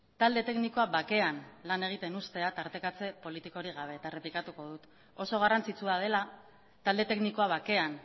talde teknikoa bakean lan egiten ustea tartekatze politikorik gabe eta errepikatuko dut oso garrantzitsua dela talde teknikoa bakean